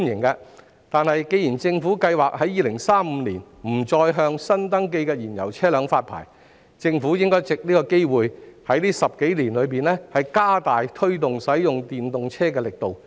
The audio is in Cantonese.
不過，既然政府計劃在2035年不再向新登記燃油車輛發牌，政府便應藉此機會在這10多年間加大力度推動使用電動車。